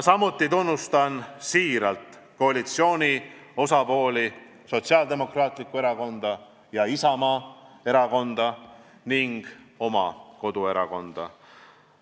Samuti tunnustan siiralt koalitsiooni osapooli – Sotsiaaldemokraatlikku Erakonda ja Isamaa erakonda ning oma koduerakonda.